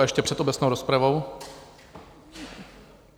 A ještě před obecnou rozpravou...